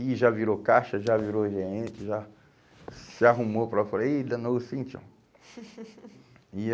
E já virou caixa, já virou gente, já se arrumou. E danou-se, enfim. E